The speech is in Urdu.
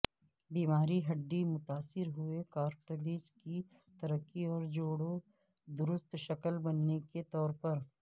بیماری ہڈی متاثر ہوئے کارٹلیج کی ترقی اور جوڑوں درست شکل بننے کے طور پر